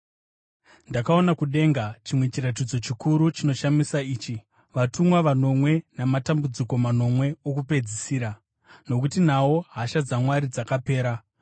Ndakaona kudenga chimwe chiratidzo chikuru chinoshamisa ichi: vatumwa vanomwe namatambudziko manomwe okupedzisira, nokuti nawo hasha dzaMwari dzakapera.